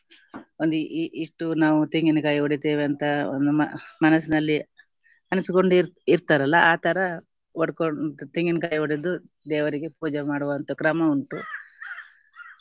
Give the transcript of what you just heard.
ಒಂದು ಇ~ ಇ~ ಇಷ್ಟು ನಾವು ತೆಂಗಿನಕಾಯಿ ಹೊಡಿತ್ತೇವೆ ಅಂತ ಒಂದು ಮ~ ಮನಸಿನಲ್ಲಿ ಅನಿಸಿಕೊಂಡಿರ್ತಾರಲ್ಲ ಆಥರ ಹೊಡ್ಕೊಂಡ್~ ತೆಂಗಿನಕಾಯಿ ಹೊಡೆದು ದೇವರಿಗೆ ಪೂಜೆ ಮಾಡುವಂತ ಕ್ರಮ ಉಂಟು .